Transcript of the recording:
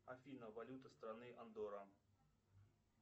афина валюта страны андорра